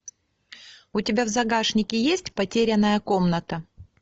у тебя в загашнике есть потерянная комната